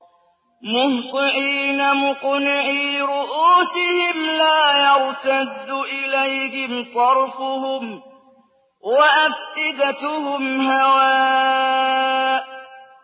مُهْطِعِينَ مُقْنِعِي رُءُوسِهِمْ لَا يَرْتَدُّ إِلَيْهِمْ طَرْفُهُمْ ۖ وَأَفْئِدَتُهُمْ هَوَاءٌ